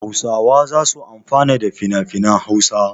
Hausawa za su amfana da finafinan Hausa.